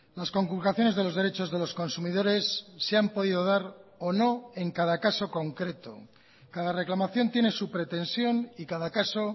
las conculcaciones de los derechos de los consumidores se han podido dar o no en cada caso concreto cada reclamación tiene su pretensión y cada caso